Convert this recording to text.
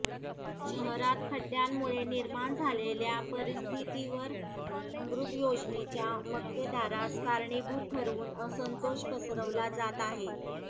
शहरात खड्ड्यांमुळे निर्माण झालेल्या परिस्थितीवर अमृत योजनेच्या मक्तेदारास कारणीभूत ठरवून असंतोष पसरवला जात आहे